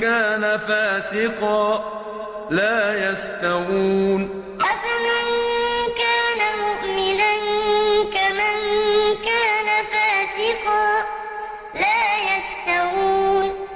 كَانَ فَاسِقًا ۚ لَّا يَسْتَوُونَ أَفَمَن كَانَ مُؤْمِنًا كَمَن كَانَ فَاسِقًا ۚ لَّا يَسْتَوُونَ